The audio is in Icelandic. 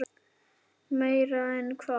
Meira en hvað?